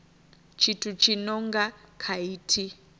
tshithu tshi no nga khaithi